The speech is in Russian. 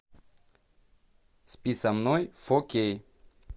спи со мной фо кей